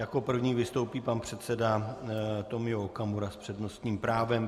Jako první vystoupí pan předseda Tomio Okamura s přednostním právem.